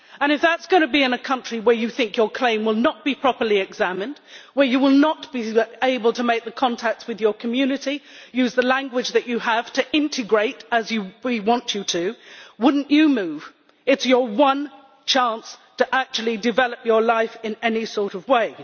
If that is going to be in a country where you think your claim will not be properly examined, where you will not be able to make the contacts with your community, use the language that you have to integrate as we want you to, would you not move? It is your one chance to actually develop your life in any sort of way.